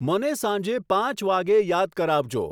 મને સાંજે પાંચ વાગ્યે યાદ કરાવજો